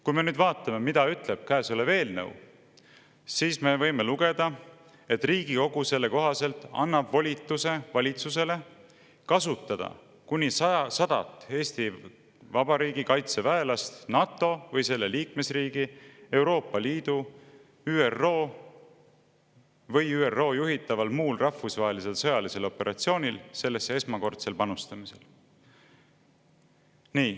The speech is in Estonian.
Kui me nüüd vaatame, mida ütleb käesolev eelnõu, siis me võime lugeda, et Riigikogu selle kohaselt annab volituse valitsusele kasutada kuni 100 Eesti Vabariigi kaitseväelast NATO või selle liikmesriigi, Euroopa Liidu või ÜRO juhitaval muul rahvusvahelisel sõjalisel operatsioonil sellesse esmakordsel panustamisel.